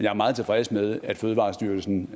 er meget tilfreds med at fødevarestyrelsen